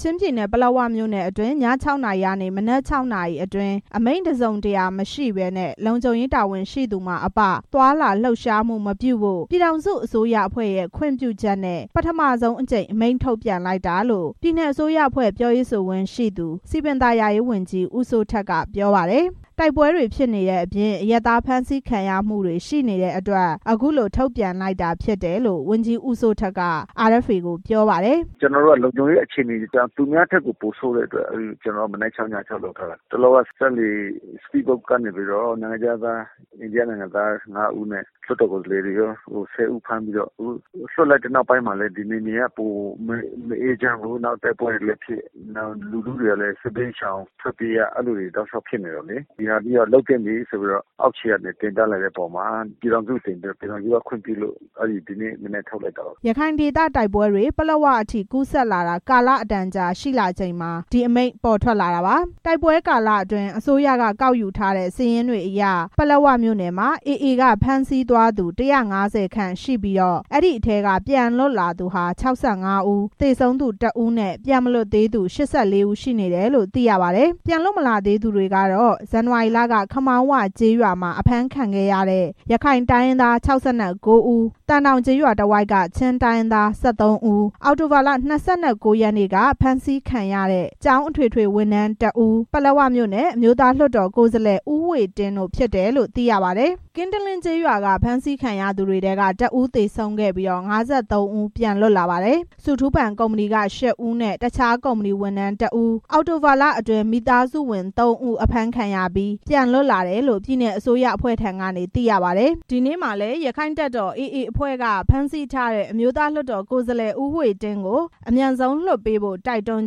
ချင်းပြည်နယ်၊ ပလက်ဝမြို့နယ်အတွင်း ည ( ၆) နာရီကနေ မနက် (၆) နာရီအတွင်း အမိန့်တစ်စုံတရာမရှိဘဲ လုံခြုံရေးတာဝန်ရှိသူမှအပ သွားလာလှုပ်ရှားမှုမပြုဖို့ ပြည်ထောင်စုအစိုးရအဖွဲ့ရဲ့ ခွင့်ပြုချက်နဲ့ ပထမဆုံးအကြိမ် အမိန့်ထုတ်ပြန်လိုက်တာလို့ ပြည်နယ်အစိုးရအဖွဲ့ ပြောရေးဆိုခွင့်ရှိသူ စည်ပင်သာယာရေးဝန်ကြီး ဦးစိုးထက် က ပြောပါတယ်။ တိုက်ပွဲတွေဖြစ်နေတဲ့အပြင် အရပ်သားဖမ်းဆီးခံရမှုတွေ ရှိနေတဲ့အတွက် အခုလို ထုတ်ပြန်တာဖြစ်တယ်လို့ ဝန်ကြီး ဦးစိုးထက် က RFA ကို ပြောပါတယ်။ “လုံခြုံရေးအခြေအနေအရ သူများထက်ကို ပိုဆိုးတဲ့အတွက် ကျနော်တို့ က မနက်(၆)၊ ည(၆)ကိုလုပ်ထားတာ၊ တလောက စက်လှေကနေ နိုင်ငံခြားသား အိန္ဒိယနိုင်ငံသား ငါးဦးနဲ့ လွှတ်တော်ကိုယ်စားလှယ်တွေ ကော ဆယ်ဦး ဖမ်းပြီးတော့ လွှတ်လိုက်တဲ့ နောက်မှာလည်း နယ်မြေက ပိုမအေးချမ်းဘူး။ ပြီးတော့ တိုက်ပွဲတွေလည်းဖြစ်၊ လူထုတွေကလည်း စစ်ဘေးရှောင်ထွက်ပြေးရ အဲဒီလိုတွေ ဖြစ်နေတယ်လေ။ ဒီဟာမျိုးက လုပ်သင့်ပြီလို့ အောက်ခြေက တင်ပြလာတဲ့အပေါ်မှာ ပြည်ထောင်စုကို တင်ပြပြီး ပြည်ထောင်စုက ခွင့်ပြုလို့ ဒီနေ့မနက် ထုတ်လိုက်တာပါ” ရခိုင်ဒေသတိုက်ပွဲတွေ ပလက်ဝအထိ ကူးစက်လာတာ ကာလအတန်ကြာ ရှိလာချိန်မှာ ဒီအမိန့် ပေါ်ထွက်လာတာပါ။ တိုက်ပွဲကာလအတွင်း အစိုးရက ကောက်ယူထားတဲ့ စာရင်းတွေအရ ပလက်ဝမြို့နယ်မှာ AA က ဖမ်းဆီးသွားသူ ၁၅၀ ခန့်ရှိပြီး အဲ့ဒီထဲက ပြန်လွတ်လာသူဟာ ၆၅ ဦး၊ သေဆုံးသူ တစ်ဦးနဲ့ ပြန်မလွတ်သေးသူ ၈၄ ဦး ရှိနေတယ်လို့ သိရပါတယ်။ ပြန်လွတ်မလာသေးသူတွေကတော့ ဇန်နဝါရီလက ခမောင်းဝကျေးရွာမှာ ဖမ်းခံရတဲ့ ရခိုင်တိုင်းရင်းသား ၆၉ ဦး၊ သံတောင်ကျေးရွာတဝိုက်က ချင်းတိုင်းရင်းသား ၁၃ ဦး၊ အောက်တိုဘာ ၂၉ ရက်က ဖမ်းဆီးခံရတဲ့ ကျောင်းအထွေထွေဝန်ထမ်း တစ်ဦး၊ ပလက်ဝမြို့နယ် အမျိုးသားလွှတ်တော် ကိုယ်စားလှယ် ဦးဝှေ့တင်း တို့ ဖြစ်တယ်လို့ သိရပါတယ်။ ကင်းတလင်းကျေးရွာက ဖမ်းဆီးခံရသူတွေထဲ တစ်ဦး သေဆုံးပြီး ၅၃ ဦး ပြန်လွတ်လာပါတယ်။ ဆုထူးပန်ကုမ္ပဏီက ရှစ်ဦး နဲ့ တခြားကုမ္ပဏီဝန်ထမ်း တစ်ဦး၊ အောက်တိုဘာလအတွင်း မိသားစုဝင် သုံးဦး အဖမ်းခံရပြီး ပြန်လွတ်လာတယ်လို့လည်း ပြည်နယ်အစိုးရအဖွဲ့ဆီက သိရပါတယ်။ ရက္ခိုင့်တပ်တော် AA အဖွဲ့က ဖမ်းဆီးထားတဲ့ အမျိုးသား လွှတ်တော်ကိုယ်စားလှယ် ဦးဝှေ့တင်းကို အမြန်ဆုံး ပြန်လွှတ်ပေးဖို့ တိုက်တွန်း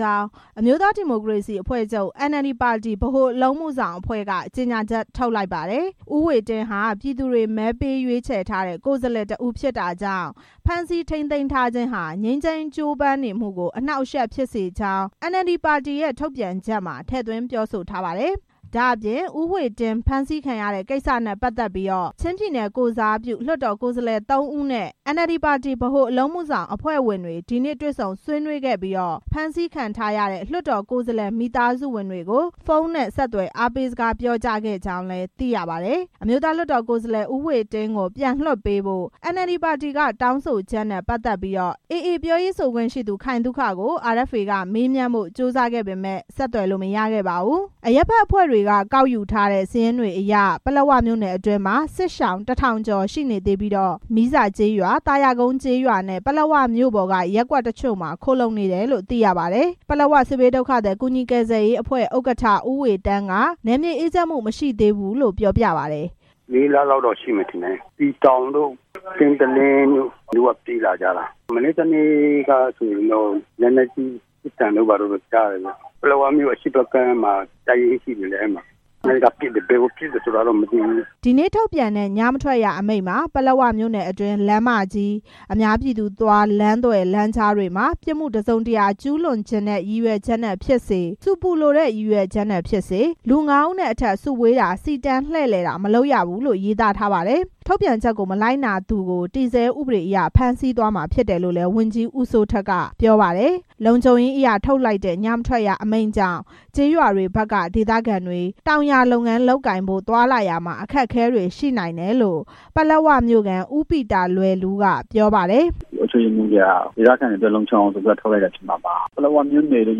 ကြောင်း အမျိုးသား ဒီမိုကရေစီအဖွဲ့ချုပ် NLD ပါတီ ဗဟိုအလုပ်အမှုဆောင်အဖွဲ့က ဒီနေ့ ကြေညာချက် ထုတ်လိုက်ပါတယ်။ ဦးဝှေ့တင်းဟာ ပြည်သူတွေ မဲပေးရွေးချယ်ထားတဲ့ လွှတ်တော်ကိုယ်စားလှယ် တစ်ဦးဖြစ်တာကြောင့် ဖမ်းဆီးထိန်းသိမ်းထားခြင်းဟာ ငြိမ်းချမ်းရေး ကြိုးပမ်းနေမှုကို အနှောက်အယှက်ဖြစ်စေကြောင်းလည်း NLD ပါတီရဲ့ ထုတ်ပြန်ချက်မှာ ထည့်သွင်းပြောဆိုထားပါတယ်။ ဒ့ါအပြင် ဦးဝှေ့တင်း ဖမ်းဆီးခံရတဲ့ ကိစ္စနဲ့ ပတ်သက်ပြီး ချင်းပြည်နယ် ကိုယ်စားပြု လွှတ်တော် ကိုယ်စားလှယ် သုံးဦးနဲ့ NLD ပါတီ ဗဟိုအလုပ်အမှုဆောင်အဖွဲ့ဝင်တွေ ဒီနေ့တွေ့ဆုံဆွေးနွေးခဲ့ပြီး ဖမ်းဆီးခံထားရတဲ့ လွှတ်တော်ကိုယ်စားလှယ် မိသားစုဝင်တွေကို ဖုန်းနဲ့ ဆက်သွယ် အားပေးစကားပြောခဲ့ကြောင်းလည်း သိရပါတယ်။ အမျိုးသား လွှတ်တော်ကိုယ်စားလှယ် ဦးဝှေ့တင်းကို ပြန်လွှတ်ပေးဖို့ NLD ပါတီက တောင်းဆိုချက်နဲ့ ပတ်သက်ပြီး AA ပြောရေးဆိုခွင့်ရှိသူ ခိုင်သုခကို RFA က မေးမြန်းဖို့ကြိုးစားခဲ့ပေမယ့် ဆက်သွယ်လို့ မရခဲ့ပါဘူး။ အရပ်ဖက်အဖွဲ့တွေက ကောက်ယူထားတဲ့ စာရင်းတွေအရ ပလက်ဝမြို့နယ်အတွင်းမှာ စစ်ရှောင် ၁၀၀၀ ကျော် ရှိနေပြီး မီးဇာ၊ သာယာကုန်းနဲ့ ပလက်ဝမြို့ပေါ်က ရပ်ကွက်တွေမှာ ခိုလှုံနေကြတယ်လို့ သိရပါတယ်။ ပလက်ဝစစ်ဘေးဒုက္ခသည် ကူညီကယ်ဆယ်ရေးအဖွဲ့ ဥက္ကဋ္ဌ ဦးဝေတန်းက နယ်မြေ အေးချမ်းမှု မရှိသေးဘူးလို့ ပြောပြပါတယ်။ “စစ်ဘေးဒုက္ခသည်တွေရောက်တာ လေးလလောက်တော့ ရှိမယ်၊ စည်တောင်ကျေးရွာတို့၊ ကင်းတလင်း ကျေးရွာတို့ဘက်က ပြေးလာကြတာ။ မနေ့တစ်နေ့က လက်နက်ကြီး ပစ်သံတို့ဘာတို့ ကြားရတယ်ဗျ။ ပလက်ဝမြို့ အရှေ့ဘက်ကမ်းမှာ တပ်ရင်းရှိတယ်။ အဲဒီကပစ်တယ်။ ဘယ်ကိုပစ်တယ်ဆိုတာတော့ မသိဘူး” ဒီနေ့ထုတ်ပြန်တဲ့ ညမထွက်ရ အမိန့်မှာ ပလက်ဝမြို့နယ်အတွင်း လမ်းမကြီး၊ အများပြည်သူသွားလမ်း၊ လမ်းသွယ်၊ လမ်းကြားတွေမှာ ပြစ်မှုတစ်စုံတရာ ကျူးလွန်သော ရည်ရွယ်ချက်နဲ့ ဖြစ်စေ၊ ဆူပူလိုတဲ့ ရည်ရွယ်ချက်နဲ့ ဖြစ်စေ လူ ငါးဦးနဲ့ အထက် စုဝေးတာ၊ စီတန်းလှည့်လည်တာ မလုပ်ရဘူးလို့လည်း ရေးသားထားပါတယ်။ ထုတ်ပြန်ချက် မလိုက်နာသူကို တည်ဆဲဥပဒေအရ ဖမ်းဆီးသွားမှာ ဖြစ်တယ်လို့လည်း ဝန်ကြီး ဦးစိုးထက်က ပြောပါတယ်။ လုံခြုံရေးအရ ထုတ်လိုက်တဲ့ ညမထွက်ရအမိန့်ကြောင့် ကျေးရွာတွေဘက်က ဒေသခံတွေ တောင်ယာလုပ်ငန်း လုပ်ကိုင်ဖို့ သွားလာရာမှာ အခက်အခဲရှိနိုင်တယ်လို့ ပလက်ဝမြို့ခံ ဦးပီတာလွယ်လူးက ပြောပါတယ်။ “အုပ်ချုပ်ရေးမှူးတွေက ဒေသခံတွေအတွက် လုံခြုံအောင်ဆိုပြီးမှ ထုတ်လိုက်တာဖြစ်မှာပါ။ ပလက်ဝမြို့နယ် လို့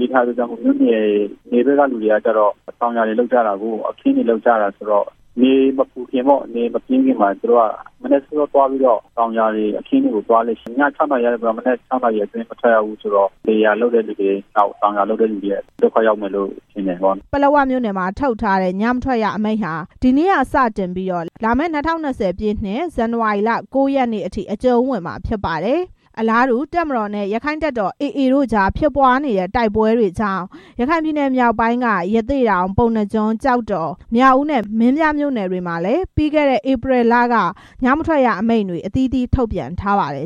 ရေးထားတဲ့အတွက် နယ်ဘက်ကလူတွေက တောင်ယာတွေ၊ အခင်းတွေ လုပ်ကြတာဆိုတော့ နေမပူခင်မှာ တောင်ယာအခင်းတွေကို သွားလေ့ရှိတယ်။ ည ၆ နာရီကနေ မနက် ၆ နာရီအတွင်း မထွက်ရဘူးဆိုတော့ လယ်ယာလုပ်တဲ့သူတွေ၊ တောင်ယာလုပ်တဲ့သူတွေအတွက်တော့ ဒုက္ခရောက်မယ်ထင်တယ်” ပလက်ဝမြို့နယ်မှာ ထုတ်ထားတဲ့ ညမထွက်ရ အမိန့်ဟာ ဒီနေ့က စတင်ပြီး လာမယ့် ၂၀၂၀ ပြည့်နှစ် ဇန်နဝါရီလ ၉ ရက်နေ့အထိ အကျုံးဝင်မှာ ဖြစ်ပါတယ်။ အလားတူ တပ်မတော်နဲ့ AA အဖွဲ့တို့ တိုက်ပွဲဖြစ်ပွားနေတဲ့ ရခိုင်ပြည်နယ် မြောက်ပိုင်းက ရသေ့တောင်၊ ပုဏ္ဏားကျွန်း၊ ကျောက်တော်၊ မြောက်ဦးနဲ့ မင်းပြားမြို့နယ်တွေမှာလည်း ပြီးခဲ့တဲ့ ဧပြီလက ညမထွက်ရအမိန့်တွေ အသီးသီး ထုတ်ပြန်ခဲ့ပါတယ်